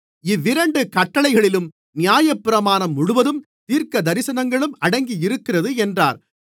இவ்விரண்டு கட்டளைகளிலும் நியாயப்பிரமாணம் முழுவதும் தீர்க்கதரிசனங்களும் அடங்கியிருக்கிறது என்றார்